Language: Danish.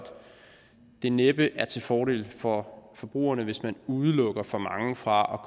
det næppe er til fordel for forbrugerne hvis man udelukker for mange fra